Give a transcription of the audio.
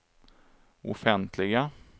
offentliga